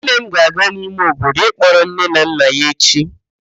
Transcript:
Nne m ga-aga n'ime obodo ịkpọrọ nne na nna ya echi.